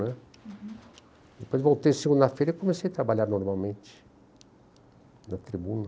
né? Uhum. Depois voltei segunda-feira e comecei a trabalhar normalmente na tribuna.